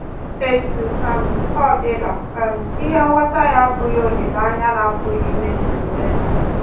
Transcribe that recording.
Etu um ọ dịla, um ihe ngwọta ya abụghị olileanya na-apụghị imezu emezu.